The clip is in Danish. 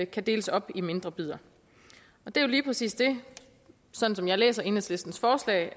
kan deles op i mindre bidder det er jo lige præcis det sådan som jeg læser enhedslistens forslag